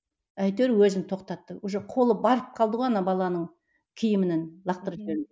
әйтеуір өзін тоқтаттым уже қолы барып қалды ғой ана баланың киімінің лақтырып жіберуге